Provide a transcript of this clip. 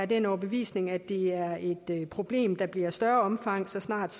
den overbevisning at det er et problem der bliver af større omfang så snart